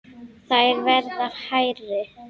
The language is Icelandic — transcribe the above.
Þær verða hærri.